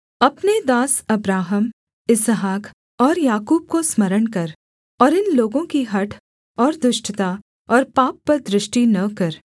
अपने दास अब्राहम इसहाक और याकूब को स्मरण कर और इन लोगों की हठ और दुष्टता और पाप पर दृष्टि न कर